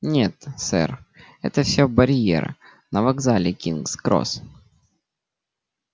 нет сэр это всё барьер на вокзале кингс-кросс